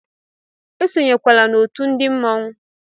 Esonyekwala otú ndi mmọnwu!